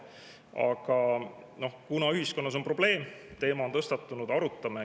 Aga kuna ühiskonnas on probleem, teema on tõstatunud, arutame.